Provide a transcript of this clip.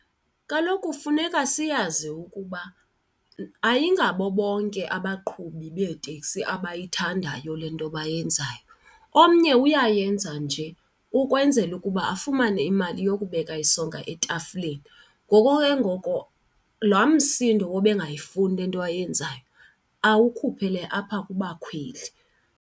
Kaloku funeka siyazi ukuba ayingabo bonke abaqhubi beeteksi abayithandayo le nto bayenzayo. Omnye uyayenza nje ukwenzela ukuba afumane imali yokubeka isonka etafileni, ngoko ke ngoko laa msindo woba engayifuni le nto ayenzayo awukhuphele apha kubakhweli.